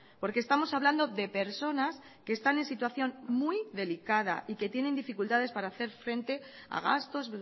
porque estamos hablando de personas que están en situación muy delicada y que tienen dificultades para hacer frente a gastos